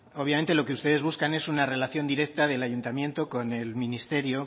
obviamente lo que ustedes buscan es una relación directa del ayuntamiento con el ministerio